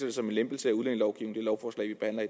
det som en lempelse